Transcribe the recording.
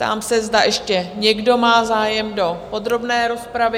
Ptám se, zda ještě někdo má zájem do podrobné rozpravy?